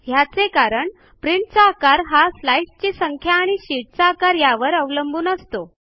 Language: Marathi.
ह्याचे कारण प्रिंटचा आकार हा स्लाईडस् ची संख्या आणि शीटचा आकार यावर अवलंबून असतो